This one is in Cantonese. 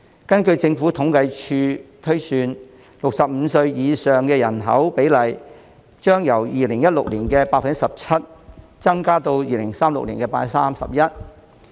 根據政府統計處推算 ，65 歲及以上人口的比例，將由2016年的 17%， 增加至2036年的 31%。